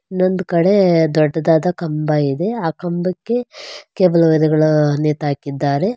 ಇನ್ನೊಂದ್ ಕಡೆ ದೊಡ್ಡದಾದ ಕಂಬ ಇದೆ ಆ ಕಂಬಕ್ಕೆ ಕೇಬಲ್ ವೈರಗಳು ನೇತಾಕಿದ್ದಾರೆ.